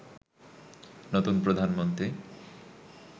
নতুন প্রধানমন্ত্রী